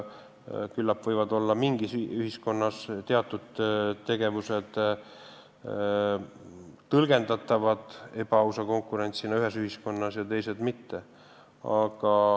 Küllap mingis ühiskonnas võivad teatud tegevused olla tõlgendatavad ebaausa konkurentsina ja teised mitte.